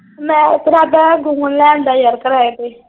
ਮੈਂ ਇਰਾਦਾ ਗੌਨ ਲੈ ਆਉਂਦਾ ਯਾਰ ਕਿਰਾਏ ਤੇ।